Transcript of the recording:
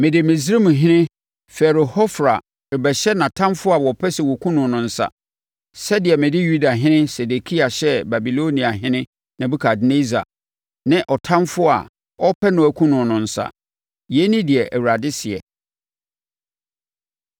‘Mede Misraimhene Farao Hofra rebɛhyɛ nʼatamfoɔ a wɔpɛ sɛ wɔkum no no nsa, sɛdeɛ mede Yudahene Sedekia hyɛɛ Babiloniahene Nebukadnessar, ne ɔtamfoɔ a na ɔrepɛ no akum no no nsa. Yei ne deɛ Awurade seɛ.’ ”